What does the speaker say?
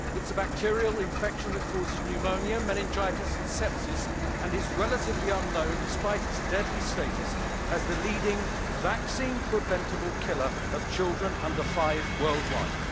It is a bacterial infection that causes pneumonia, meningitis and sepsis, and is relatively unknown despite its deadly status as the leading vaccine preventable killer of children under five worldwide.